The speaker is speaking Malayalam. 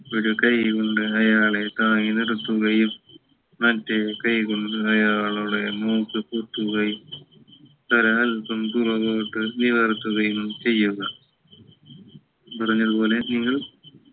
ഒരു കൈ കൊണ്ട് അയാളെ താങ്ങി നിർത്തുകയും മറ്റു കൈ കൊണ്ട് അയാളുടെ മൂക്ക് പൊത്തുകയും തല അല്പം പുറകോട്ട് നിവർത്തുകയും ചെയ്യുക പറഞ്ഞത് പോലെ നിങ്ങൾ